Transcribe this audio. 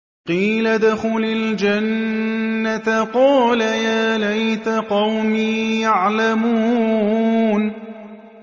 قِيلَ ادْخُلِ الْجَنَّةَ ۖ قَالَ يَا لَيْتَ قَوْمِي يَعْلَمُونَ